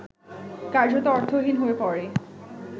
কার্যত অর্থহীন হয়ে পড়ে